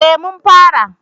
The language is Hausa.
eh mun fara